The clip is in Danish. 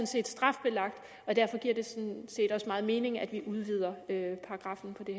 set strafbelagt og derfor giver det sådan set også meget mening at vi udvider paragraffen på det